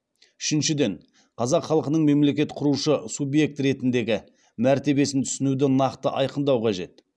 үшіншіден қазақ халқының мемлекет құрушы субъект ретіндегі мәртебесін түсінуді нақты айқындау қажет